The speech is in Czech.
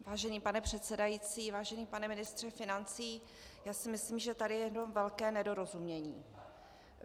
Vážený pane předsedající, vážený pane ministře financí, já si myslím, že tady je jedno velké nedorozumění.